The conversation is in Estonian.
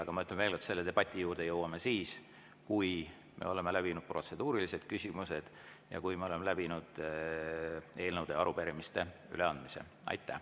Aga ma ütlen veel kord, et selle debati juurde me jõuame siis, kui oleme läbinud protseduurilised küsimused ja kui oleme läbinud eelnõude ja arupärimiste üleandmise.